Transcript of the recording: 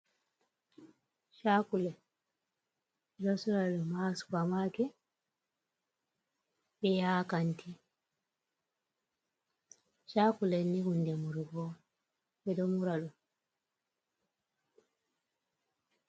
Kakulet, ɓeɗo sora ɗum ha Supa maket, ɓeha kantiru. Sakulet ni hunɗe murugo ɓe ɗo mura ɗum.